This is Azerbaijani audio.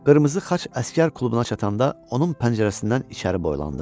Qırmızı xaç əsgər klubuna çatanda onun pəncərəsindən içəri boylandım.